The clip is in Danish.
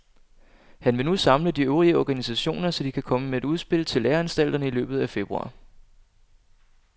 Han vil nu samle de øvrige organisationer, så de kan komme med et udspil til læreanstalterne i løbet af februar.